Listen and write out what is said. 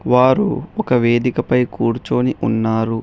వారు ఒక వేదికపై కూర్చుని ఉన్నారు.